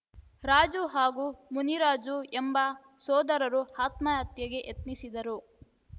ರಾಜು ಹಾಗೂ ಮುನಿರಾಜು ಎಂಬ ಸೋದರರು ಆತ್ಮಹತ್ಯೆಗೆ ಯತ್ನಿಸಿದರು